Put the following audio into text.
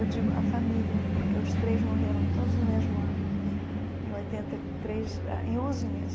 Eu digo a família, porque os três morreram todos no mesmo ano, em oitenta e três em onze meses.